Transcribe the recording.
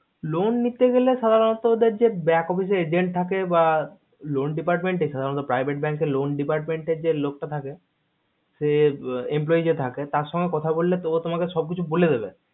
loan নিতে গেলে সাধারণত ওদের যে back office এ agent থাকে বা loan department private bank এ loan department যে লোক টা থাকে যে employe যে থাকে তার সঙ্গে কথা বললে ও তোমাকে সব কিছু বলে দেবে